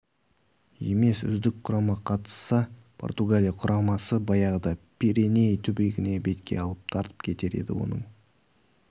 емес үздік құрама қатысса португалия құрамасы баяғыда пиреней түбегін бетке алып тартып кетер еді оның